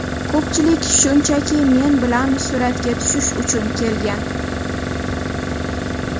Ko‘pchilik shunchaki men bilan suratga tushish uchun kelgan.